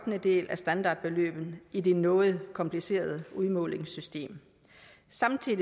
en af standardbeløbet i det noget komplicerede udmålingssystem samtidig